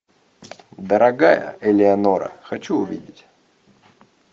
дорогая элеонора хочу увидеть